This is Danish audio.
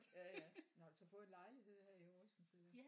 Ja ja nåh har du så fået en lejlighed her i Horsens eller?